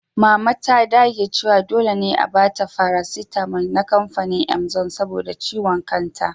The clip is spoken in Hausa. Mama ta dage cewa dole ne a ba ta faraaitamal na kamfanin imzo saboda ciwon kanta.